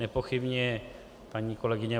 Nepochybně paní kolegyně